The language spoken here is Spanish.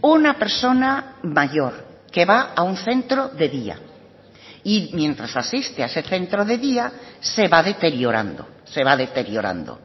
una persona mayor que va a un centro de día y mientras asiste a ese centro de día se va deteriorando se va deteriorando